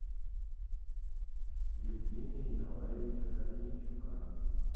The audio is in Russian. евгения николаевича корнейчука